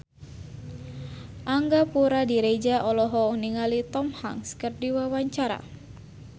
Angga Puradiredja olohok ningali Tom Hanks keur diwawancara